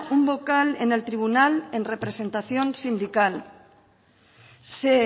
un vocal en el tribunal en representación sindical se